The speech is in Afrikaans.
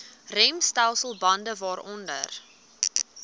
remstelsel bande waaronder